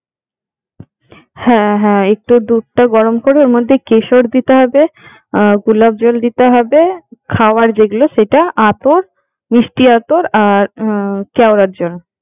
হ্যাঁ হ্যাঁ একটু দুধটা গরম করে ওর মধ্যে কেশর দিতে হবে, গোলাপ জল দিতে হবে, খাবার যেগুলো সেটা, আতর, মিষ্টি আতর আর হম কেওড়ার জল।